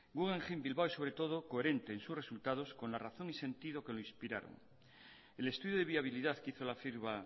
guggenheim bilbao es sobre todo coherente en sus resultados con la razón y sentido que lo inspiraron el estudio de viabilidad que hizo la firma